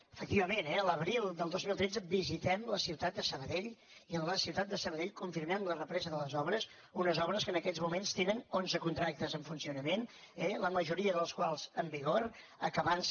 efectivament eh l’abril del dos mil tretze visitem la ciutat de sabadell i en la ciutat de sabadell confirmem la represa de les obres unes obres que en aquests moments tenen onze contractes en funcionament la majoria dels quals en vigor acabant se